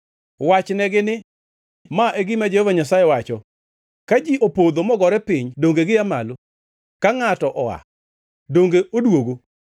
“Wachnegi ni, ‘Ma e gima Jehova Nyasaye wacho: “ ‘Ka ji opodho mogore piny donge gia malo? Ka ngʼato oa, donge odwogo?